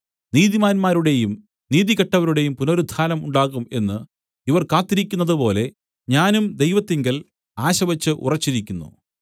നീതിമാന്മാരുടെയും നീതികെട്ടവരുടെയും പുനരുത്ഥാനം ഉണ്ടാകും എന്ന് ഇവർ കാത്തിരിക്കുന്നതുപോലെ ഞാനും ദൈവത്തിങ്കൽ ആശവച്ച് ഉറച്ചിരിക്കുന്നു